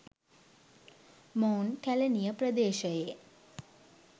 මොවුන් කැලණිය ප්‍රදේශයේ